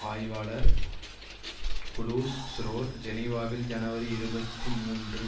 ஆய்வாளர் குளூஸ் ஸ்ரோர் ஜெனிவாவில் ஜனவரி இருபத்தி மூன்று